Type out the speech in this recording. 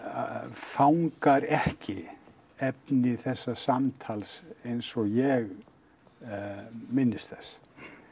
fangar ekki efni þessa samtals eins og ég minnist þess